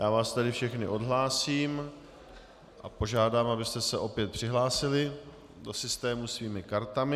Já vás tedy všechny odhlásím a požádám, abyste se opět přihlásili do systému svými kartami.